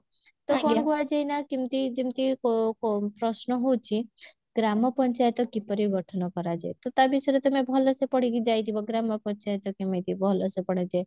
ତ କଣ କୁହାଯାଏ ନା କେମତି ଯେମତି ପ ପ ପ୍ରଶ୍ନ ହଉଛି ଗ୍ରାମ ପଞ୍ଚାୟତ କିପରି ଗଠନ କରାଯାଏ ତ ତା ବିଷୟରେ ତମେ ଭଲସେ ପଢିକି ଯାଇଥିବ ଗ୍ରାମ ପଞ୍ଚାୟତ କେମିତି ଭଲସେ ଗଢାଯାଏ